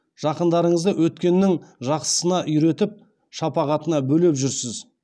жақындарыңызды өткеннің жақсысына үйретіп шапағатына бөлеп жүрсіз